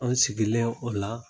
Anw sigilen o la.